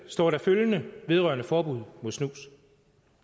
står der følgende vedrørende forbud mod snus